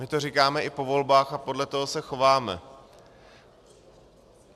My to říkáme i po volbách a podle toho se chováme.